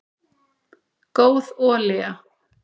góð olía